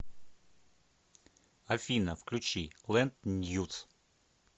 афина включи лэнд ньюс